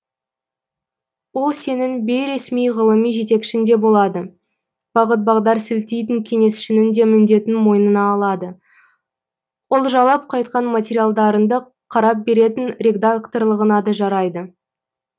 ол сенің бейресми ғылыми жетекшің де болады бағыт бағдар сілтейтін кеңесшіңнің де міндетін мойнына алады олжалап қайтқан материалдарыңды қарап беретін редакторлығыңа да жарайды